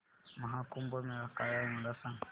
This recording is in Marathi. महा कुंभ मेळा काय आहे मला सांग